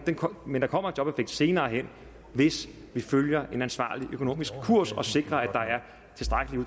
men der kommer en jobeffekt senere hen hvis vi følger en ansvarlig økonomisk kurs og sikrer at